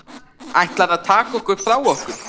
Ætlarðu að taka okkur frá okkur?